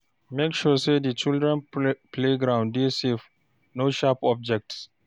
Make sure sey di children play ground dey safe, no sharp object